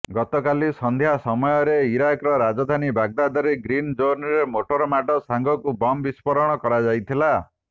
ଗତକାଲି ସନ୍ଧ୍ୟା ସମୟରେ ଇରାକର ରାଜଧାନୀ ବାଗଦାଦର ଗ୍ରୀନଜୋନରେ ମୋଟର ମାଡ଼ ସାଙ୍ଗକୁ ବମ୍ ବିସ୍ଫୋରଣ କରାଯାଇଥିଲା